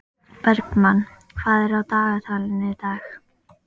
Bergmann, hvað er á dagatalinu í dag?